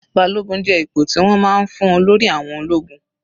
Balogun jẹ́ ipò tí wọ́n máa ń fún olórí àwọn ológun.